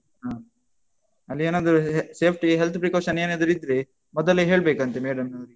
ಹ. ಅಲ್ಲಿ ಏನಾದ್ರು safety ಗೆ, health precaution ಏನಾದ್ರು ಇದ್ರೆ ಮೊದಲೇ ಹೇಳ್ಬೇಕಂತೆ ಮೇಡಮ್ನವರಿಗೆ.